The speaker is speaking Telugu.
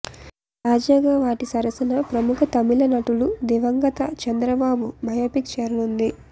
తాజాగా వాటి సరసన ప్రముఖ తమిళనటుడు దివంగత చంద్రబాబు బయోపిక్ చేరనుంది